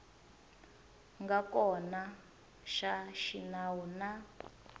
nga kona xa xinawu na